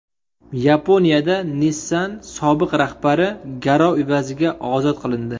Yaponiyada Nissan sobiq rahbari garov evaziga ozod qilindi.